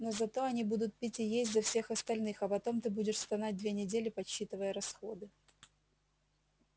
но зато они будут пить и есть за всех остальных а потом ты будешь стонать две недели подсчитывая расходы